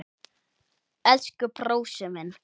Elsku brósi minn.